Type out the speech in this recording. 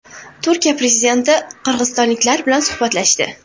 Turkiya prezidenti qirg‘izistonliklar bilan suhbatlashdi .